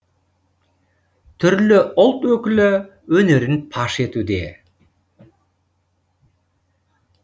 түрлі ұлт өкілі өнерін паш етуде